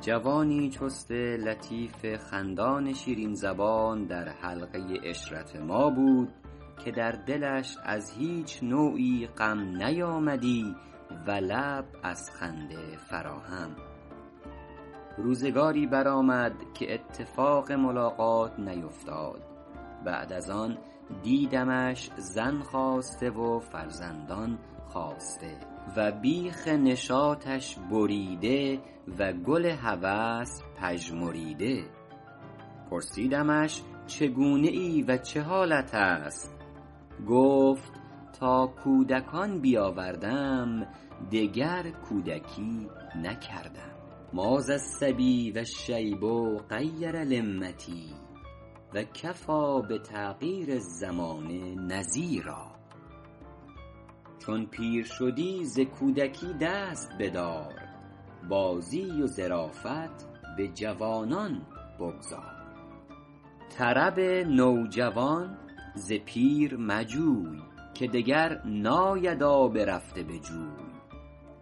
جوانی چست لطیف خندان شیرین زبان در حلقه عشرت ما بود که در دلش از هیچ نوعی غم نیامدی و لب از خنده فرا هم روزگاری برآمد که اتفاق ملاقات نیوفتاد بعد از آن دیدمش زن خواسته و فرزندان خاسته و بیخ نشاطش بریده و گل هوس پژمریده پرسیدمش چگونه ای و چه حالت است گفت تا کودکان بیاوردم دگر کودکی نکردم ما ذا الصبیٰ و الشیب غیر لمتی و کفیٰ بتغییر الزمان نذیرا چون پیر شدی ز کودکی دست بدار بازی و ظرافت به جوانان بگذار طرب نوجوان ز پیر مجوی که دگر ناید آب رفته به جوی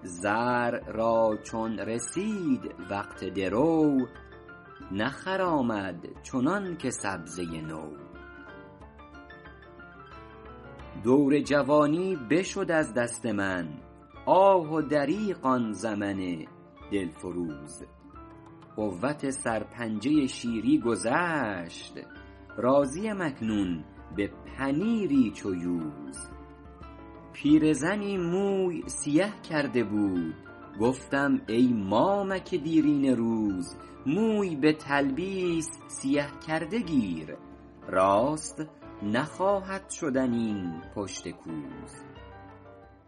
زرع را چون رسید وقت درو نخرامد چنان که سبزه نو دور جوانی بشد از دست من آه و دریغ آن زمن دل فروز قوت سرپنجه شیری گذشت راضی ام اکنون به پنیری چو یوز پیرزنی موی سیه کرده بود گفتم ای مامک دیرینه روز موی به تلبیس سیه کرده گیر راست نخواهد شدن این پشت کوز